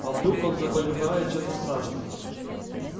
а вдруг он заболевает чем-то страшным